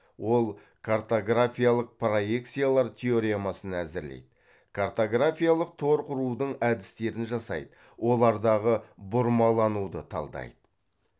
ол картографиялық проекциялар теоремасын әзірлейді картографиялық тор құрудың әдістерін жасайды олардағы бұрмалануды талдайды